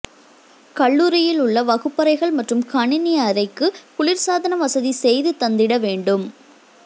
கல்லூரியில் உள்ள வகுப்பறைகள் மற்றும் கணினி அறைக்கு குளிர்சாதன வசதி செய்து தந்திட வேண்டும்